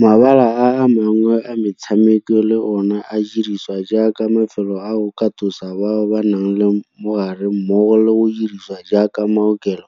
Mabala a mangwe a metshameko le one a dirisiwa jaaka mafelo a go katosa bao ba nang le mogare mmogo le go dirisiwa jaaka maokelo